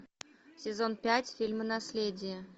сезон пять фильма наследие